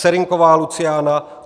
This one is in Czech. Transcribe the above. Serynková Luciána